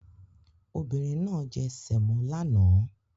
Obìnrin náà jẹ semo lánàá